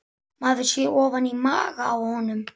Maður sér ofan í maga á honum